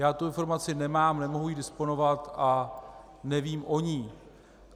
Já tu informaci nemám, nemohu jí disponovat a nevím o ní.